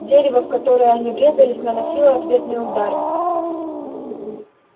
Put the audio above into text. дерево в которое они врезались наносило ответные удары